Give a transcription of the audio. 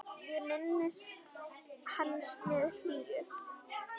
Ég minnist hans með hlýju.